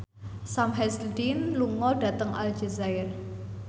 Sam Hazeldine lunga dhateng Aljazair